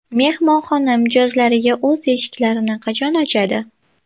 Mehmonxona mijozlariga o‘z eshiklarini qachon ochadi?